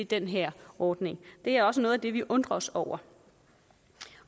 den her ordning det er også noget af det vi undrer os over